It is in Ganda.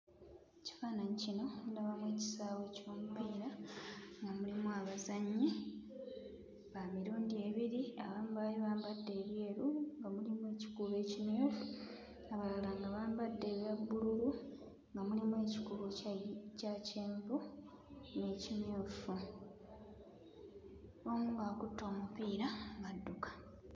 Mu kifaananyi kino ndabamu ekisaawe ky'omupiira nga mulimu abazannyi ba mirundi ebiri abamu baali bambadde ebyeru nga mulimu ekikuubo ekimyufu abalala nga bambadde ebya bbululu nga mulimu ekikuubo kya kyenvu n'ekimyufu. Omu ng'akutte omupiira adduka.